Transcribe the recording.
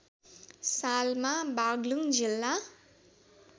सालमा बाग्लुङ जिल्ला